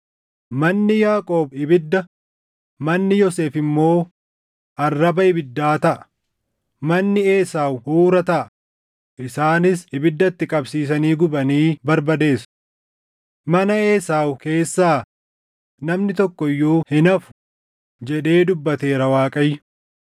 Manni Yaaqoob ibidda, manni Yoosef immoo arraba ibiddaa taʼa; manni Esaaw huura taʼa; isaanis ibidda itti qabsiisanii gubanii barbadeessu. Mana Esaaw keessaa namni tokko iyyuu hin hafu” jedhee dubbateera Waaqayyo.